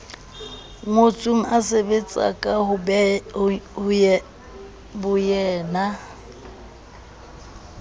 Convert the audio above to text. ngotsweng a sebetsa ka boyena